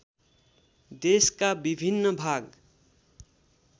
देशका विभिन्न भाग